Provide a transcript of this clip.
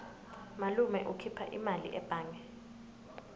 malume ukhipha imali ebhange